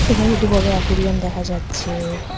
এখানে একটি বড় আ্যকুরিয়াম দেখা যাচ্ছেএ।